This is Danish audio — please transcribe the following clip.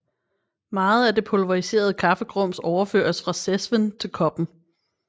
Meget af det pulveriserede kaffegrums overføres fra cezven til koppen